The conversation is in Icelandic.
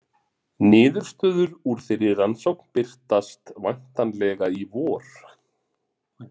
Niðurstöður úr þeirri rannsókn birtast væntanlega í vor.